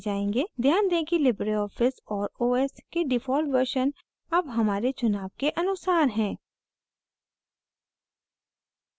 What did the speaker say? ध्यान दें कि libreoffice और os के default version अब हमारे चुनाव के अनुसार हैं